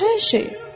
Hər şeyi!